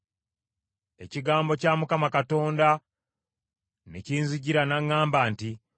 Ekigambo kya Mukama Katonda ne kinzijira, n’aŋŋamba nti,